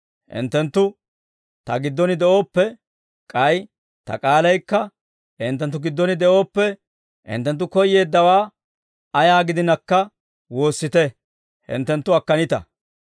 Hinttenttu Ta giddon de'ooppe, k'ay Ta k'aalaykka hinttenttu giddon de'ooppe, hinttenttu koyyeeddawaa ayaa gidinakka woossite; hinttenttu akkanita.